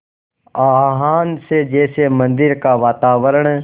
आह्वान से जैसे मंदिर का वातावरण